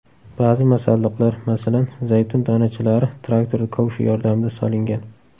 Ba’zi masalliqlar, masalan, zaytun donachalari traktor kovshi yordamida solingan.